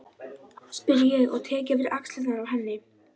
spyr ég og tek yfir axlirnar á henni.